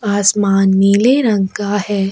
आसमान नीले रंग का है।